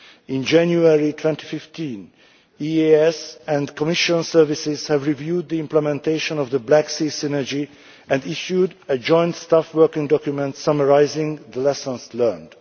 In January 2015, the EEAS and Commission services reviewed the implementation of the Black Sea Synergy and issued a joint staff working document summarising the lessons learned.